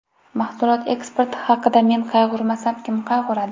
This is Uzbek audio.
Mahsulot eksporti haqida men qayg‘urmasam, kim qayg‘uradi?